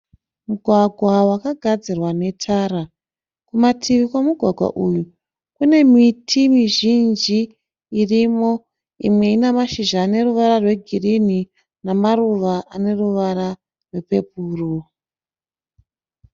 Mugwagwa wakagadzirwa netara. Kumativi kwemugwagwa uyu kune miti mizhinji irimo imwe ine mashizha ane ruvara rwegirini nemaruva aneruvara rwepepuru.